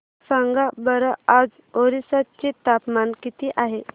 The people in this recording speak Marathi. सांगा बरं आज ओरिसा चे तापमान किती आहे